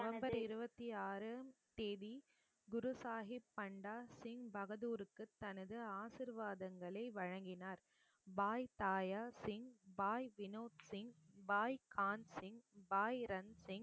November இருபத்தி ஆறு தேதி குரு சாகிப் பண்டா சிங் பகதூருக்கு தனது ஆசீர்வாதங்களை வழங்கினார் பாய் தாயார் சிங், பாய் வினோத் சிங், பாய் கான்சிங், பாய் ரன்சிங்,